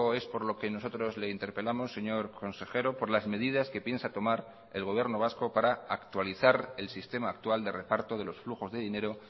es por lo que nosotros le interpelamos señor consejero por las medidas que piensa tomar el gobierno vasco para actualizar el sistema actual de reparto de los flujos de dinero